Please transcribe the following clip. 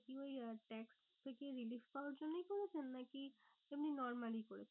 ওই tax থেকে release করার জন্যই করেছেন? না কি এমনি normally করেছেন?